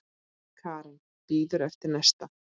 Karen: Bíður eftir næsta?